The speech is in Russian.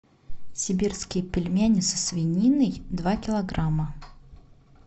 сибирские пельмени со свининой два килограмма